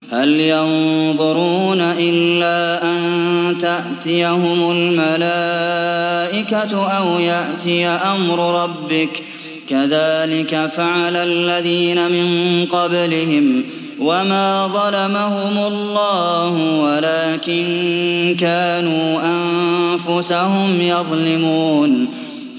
هَلْ يَنظُرُونَ إِلَّا أَن تَأْتِيَهُمُ الْمَلَائِكَةُ أَوْ يَأْتِيَ أَمْرُ رَبِّكَ ۚ كَذَٰلِكَ فَعَلَ الَّذِينَ مِن قَبْلِهِمْ ۚ وَمَا ظَلَمَهُمُ اللَّهُ وَلَٰكِن كَانُوا أَنفُسَهُمْ يَظْلِمُونَ